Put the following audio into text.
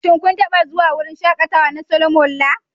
Shin kun taɓa zuwa wurin shakatawa na Solomon Lar?